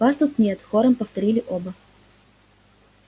вас тут нет хором повторили оба